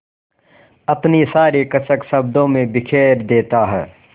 अपनी सारी कसक शब्दों में बिखेर देता है